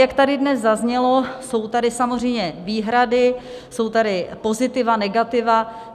Jak tady dnes zaznělo, jsou tady samozřejmě výhrady, jsou tady pozitiva, negativa.